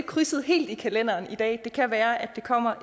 krydset i kalenderen i dag men det kan være det kommer